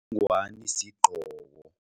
Ingwani sigqoko.